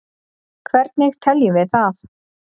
hvernig teljum við það